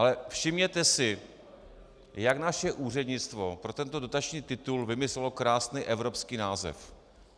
Ale všimněte si, jak naše úřednictvo pro tento dotační titul vymyslelo krásný evropský název.